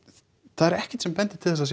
það er ekkert sem bendir til þess að